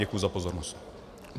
Děkuji za pozornost.